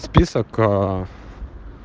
список